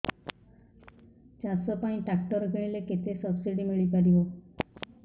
ଚାଷ ପାଇଁ ଟ୍ରାକ୍ଟର କିଣିଲେ କେତେ ସବ୍ସିଡି ମିଳିପାରିବ